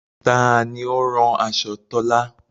Taani ó o rán aṣọ Tọ́là?